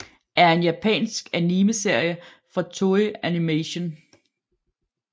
er en japansk animeserie fra Toei Animation